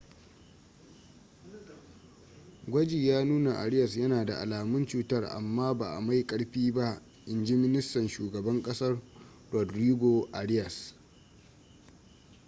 gwaji ya nuna arias yana da alamun cutar amma ba mai ƙarfi ba in ji ministan shugaban kasar rodrigo arias